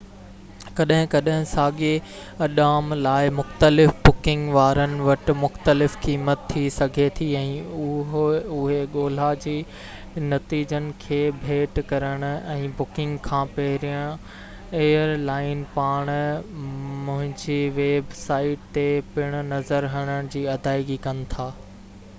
ڪڏهن ڪڏهن ساڳئي اڏام لاءِ مختلف بڪنگ وارن وٽ مختلف قيمت ٿي سگهي ٿي ۽ اهي ڳولا جي نتيجن کي ڀيٽ ڪرڻ ۽ بڪنگ کان پهرين ايئرلائن پاڻ پنهنجي ويب سائيٽ تي پڻ نظر هڻڻ جي ادائيگي ڪن ٿا